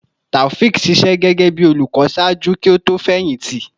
Taofiq ṣiṣẹ gẹgẹbi olukọ ṣaaju ki o to fẹyìntì